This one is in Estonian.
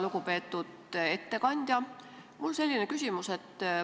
Lugupeetud ettekandja!